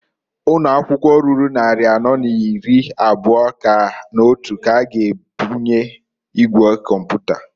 Ụnọakwụkwọ ruru nnarị anọ n'iri abụa n'otu k'a ga ebunye igwe kọmpụta.